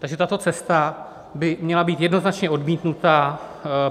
takže tato cesta by měla být jednoznačně odmítnuta.